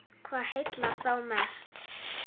Hvað heillar þá mest?